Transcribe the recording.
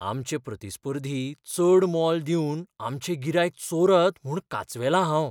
आमचे प्रतिस्पर्धी चड मोल दिवन आमचें गिरायक चोरत म्हूूण कांचवेलां हांव.